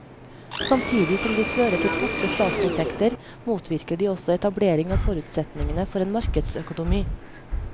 Samtidig som de fører til tapte statsinntekter motvirker de også etablering av forutsetningene for en markedsøkonomi.